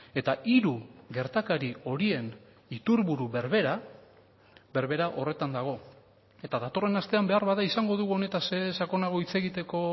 eta hiru gertakari horien iturburu berbera berbera horretan dago eta datorren astean beharbada izango dugu honetaz sakonago hitz egiteko